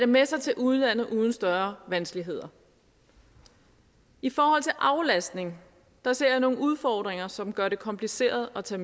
med sig til udlandet uden større vanskeligheder i forhold til aflastning ser jeg nogle udfordringer som gør det kompliceret at tage